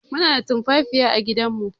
Muna da tumfafiya à gidan mu